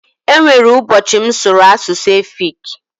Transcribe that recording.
E nwere ụbọchị m sụrụ asụsụ efiki.